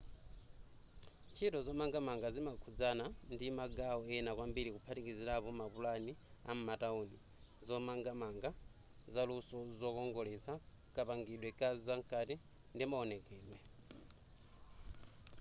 ntchito zomangamanga zimakhudzana ndi magawo ena kwambiri kuphatikizirapo mapulani a m'matauni zomangamanga zaluso zokongoletsa kapangidwe kazamkati ndi maonekedwe